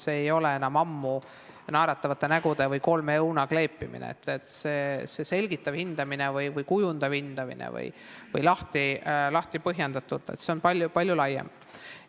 See ei ole enam ammu naeratavate nägude või kolme õuna kleepimine, see selgitav hindamine või kujundav hindamine on palju laiem.